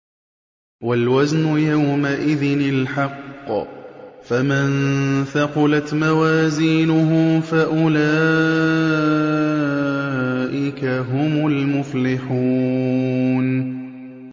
وَالْوَزْنُ يَوْمَئِذٍ الْحَقُّ ۚ فَمَن ثَقُلَتْ مَوَازِينُهُ فَأُولَٰئِكَ هُمُ الْمُفْلِحُونَ